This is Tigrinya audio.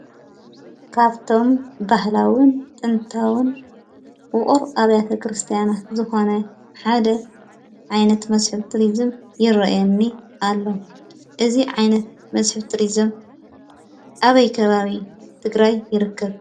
ካብቶም ባህላዊን ጥንታዊን ውቅር ኣብያተ ቤተ ክርስትያናት ዝኮነ ሓደ ዓይነት መስሕብ ቱሪዝምይረአየኒ ኣሎ፡፡ እዚ ዓይነት መስሕብ ቱሪዝም ኣበይ ከባቢ ትግራይ ይርከብ?